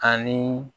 Ani